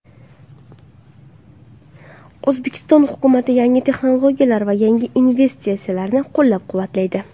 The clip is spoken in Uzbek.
O‘zbekiston hukumati yangi texnologiyalar va yangi investitsiyalarni qo‘llab-quvvatlaydi.